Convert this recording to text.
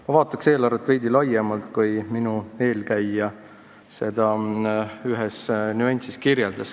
Ma vaataks eelarvet veidi laiemalt, ei piirduks mõne nüansiga.